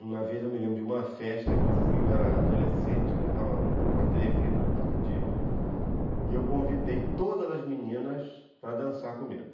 Uma vez eu me lembro de uma festa que eu fui, eu era adolescente, eu estava um pouco atrevido naquele dia, e eu convidei todas as meninas para dançar comigo.